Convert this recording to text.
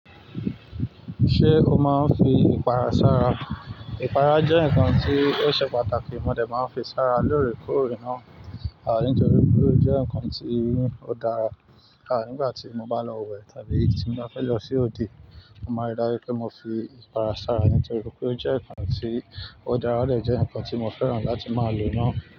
Ṣé o máa ń fi ìpara sára? Ìpara jẹ́ nǹkan tí ó ṣe pàtàkì, mo dẹ̀ máa ń fi sára lóòrèkóòrè náà, a nítorí pé ó jẹ́ nǹkan tí ó dára. Aah nígbà tí mo bá lọ wẹ̀ tàbí tí mo bá fẹ́ lọ sí ode, mo máa rí dájú pé mo fi ìpara sára nítorí pé ó jẹ́ nǹkan tí ó dára, ó lè jẹ́ nǹkan tí mo fẹ́ràn láti máa lò náà.